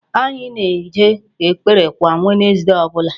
Anyị na-eje ekpere kwa Wednesday ọbụla.